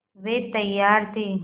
वे तैयार थे